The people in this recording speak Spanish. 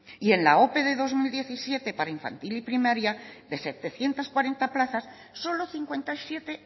y en la ope del dos mil diecisiete para infantil y primaria de setecientos cuarenta plazas solo cincuenta y siete